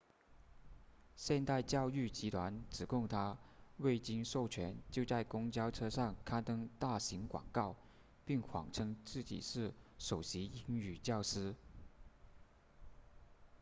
现代教育集团指控他未经授权就在公交车上刊登大型广告并谎称自己是首席英语教师